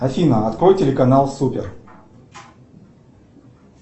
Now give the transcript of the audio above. афина открой телеканал супер